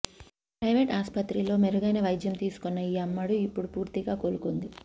private ఆసుపత్రిలో మెరుగైన వైద్యం తీసుకున్న ఈ అమ్మడు ఇప్పుడు పూర్తిగా కోలుకుంది